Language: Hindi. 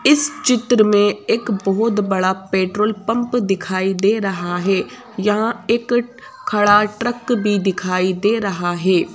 इस चित्र में एक बहुत बड़ा पेट्रोल पंप दिखाई दे रहा है यहाँ एक खड़ा ट्रक भी दिखाई दे रहा है।